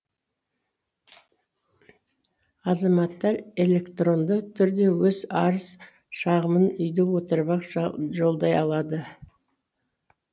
азаматтар электронды түрде өз арыз шағымын үйде отырып ақ жолдай алады